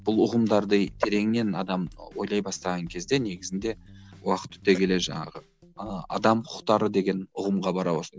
бұл ұғымдарды тереңнен адам ойлай бастаған кезде негізінде уақыт өте келе жаңағы ыыы адам құқықтары деген ұғымға бара бастайды